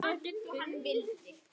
Loksins brosir lífið við henni.